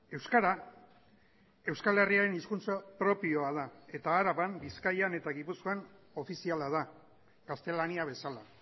euskara euskal herriaren hizkuntza propioa da eta araban bizkaian eta gipuzkoan ofiziala da gaztelania bezala